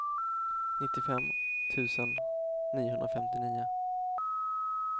nittiofem tusen niohundrafemtionio